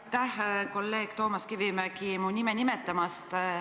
Aitäh, kolleeg Toomas Kivimägi, mu nime nimetamast!